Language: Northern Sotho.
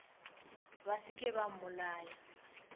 ba se ke ba mmolaya